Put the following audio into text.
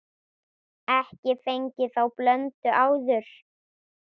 Ekki fengið þá blöndu áður.